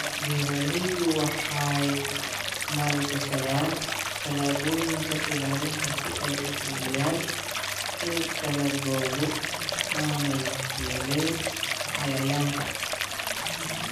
Beeraleydu waxay maalgashadaan tallaabooyinka ilaalinta si ay u hubiyaan in dalaggoodu aanay waxyeellayn cayayaanka.